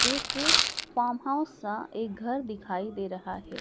एक farm house सा एक घर दिखाई दे रहा है।